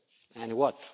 And what?